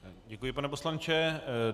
Děkuji, pane poslanče.